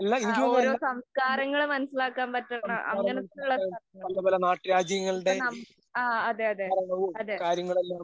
ഓരോ സംസ്കാരങ്ങള്‍ മനസിലാക്കാന്‍ പറ്റണ അങ്ങനത്തെ യുള്ള സ്ഥലങ്ങള്‍. ഇപ്പം നമ്മ അതേയതെ, അതേ.